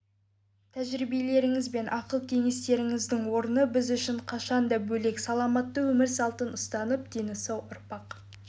тәжірибелеріңіз бен ақыл-кеңестеріңіздің орны біз үшін қашанда бөлек саламатты өмір салтын ұстанып дені сау ұрпақ